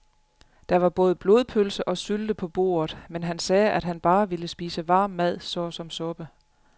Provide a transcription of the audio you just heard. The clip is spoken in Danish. Der var både blodpølse og sylte på bordet, men han sagde, at han bare ville spise varm mad såsom suppe.